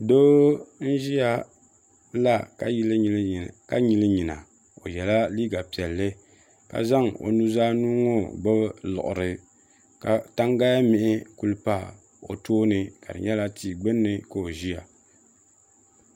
Doo n-ʒiya la ka nyili nyina o yela liiga piɛlli za zaŋ o nuzaa nuu ŋɔ gbubi liɣiri ka tangalimihi kuli pa o toon ka di nyɛla tia gbunni ka o ʒiya.